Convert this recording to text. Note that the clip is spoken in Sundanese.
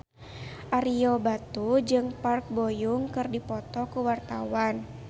Ario Batu jeung Park Bo Yung keur dipoto ku wartawan